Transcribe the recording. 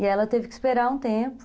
E ela teve que esperar um tempo.